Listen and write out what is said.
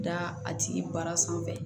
Da a tigi bara sanfɛ